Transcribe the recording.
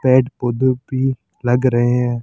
पेड़ पौधों भी लग रहे हैं।